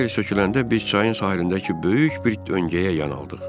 Dan yeri söküləndə biz çayın sahilindəki böyük bir döngəyə yan aldıq.